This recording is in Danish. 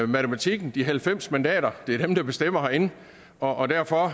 matematikken de halvfems mandater det er dem der bestemmer herinde og derfor